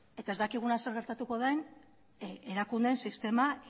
ez dakiguna zer gertatuko den erakundeen sistema